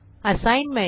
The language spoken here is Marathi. असाईनमेंट